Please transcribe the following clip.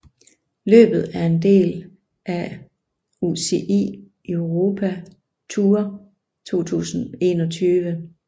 Løbet er en del af af UCI Europe Tour 2021